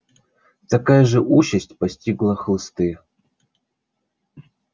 такая же участь постигла хлысты